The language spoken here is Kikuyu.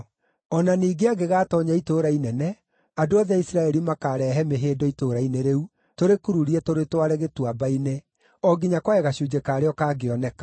O na ningĩ angĩgatoonya itũũra inene, andũ othe a Isiraeli makaarehe mĩhĩndo itũũra-inĩ rĩu, tũrĩkururie tũrĩtware gĩtuamba-inĩ, o nginya kwage gacunjĩ karĩo kangĩoneka.”